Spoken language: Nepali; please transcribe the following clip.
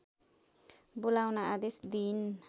बोलाउन आदेश दिइन्